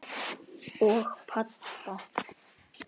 Og Badda.